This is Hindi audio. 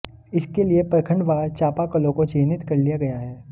इसके लिए प्रखंडवार चापाकलों को चिह्नित कर लिया गया है